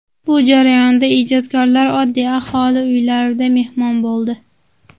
Bu jarayonda ijodkorlar oddiy aholi uylarida mehmon bo‘ldi.